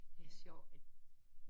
Det er sjovt at